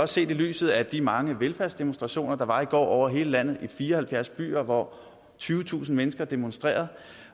også set i lyset af de mange velfærdsdemonstrationer der var i går over hele landet i fire og halvfjerds byer hvor tyvetusind mennesker demonstrerede